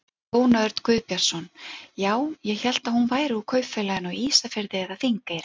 Jón Örn Guðbjartsson: Já, ég hélt hún væri úr Kaupfélaginu á Ísafirði eða Þingeyri?